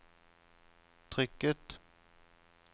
trykket